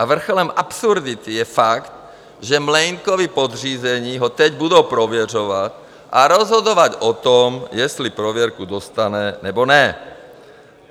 A vrcholem absurdity je fakt, že Mlejnkovi podřízení ho teď budou prověřovat a rozhodovat o tom, jestli prověrku dostane, nebo ne.